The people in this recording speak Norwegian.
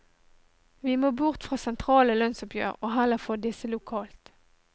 Vi må bort fra sentrale lønnsoppgjør og heller få disse lokalt.